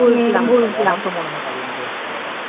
আমার তো মনে হয় কাজের মধ্যে ব্যস্ত থাকা ভালোI